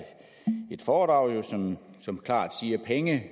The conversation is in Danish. et foredrag som som klart siger at penge